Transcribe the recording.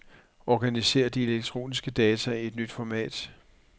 Organiser de elektroniske data i et nyt format.